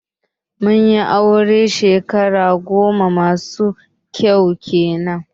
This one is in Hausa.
mun yi aure shekara goma masu kyau kenan